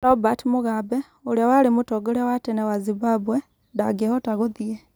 Robert Mugabe, ũrĩa warĩ Mũtongoria wa tene wa Zimbabwe 'ndangĩhota gũthiĩ'.